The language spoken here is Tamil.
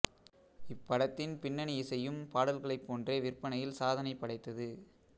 இப்படத்தின் பின்னணி இசையும் பாடல்களைப் போன்றே விற்பனையில் சாதனை படைத்தது